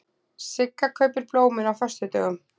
Sigga kaupir blómin á föstudögum.